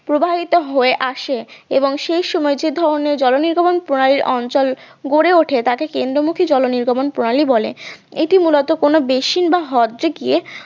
প্রবাহিত হয়ে আসে এবং সেই সময় যদি অন্য জল নির্গমন প্রণালীর অঞ্চল গড়ে ওঠে তাকে কেন্দ্রমুখী জলনির্গমন প্রণালী বলে এটা মূলত কোনো বেশি বা হ্রদে গিয়ে